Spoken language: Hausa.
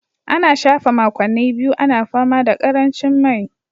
An shafe makonni biyu ana fama da karancin mai